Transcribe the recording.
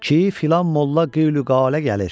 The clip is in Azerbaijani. Ki filan molla qeylüqalə gəlir.